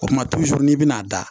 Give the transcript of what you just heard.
O kuma n'i bɛna a da